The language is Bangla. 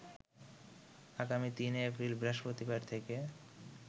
আগামী ৩ এপ্রিল বৃহস্পতিবার থেকে